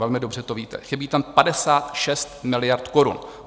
Velmi dobře to víte, chybí tam 56 miliard korun.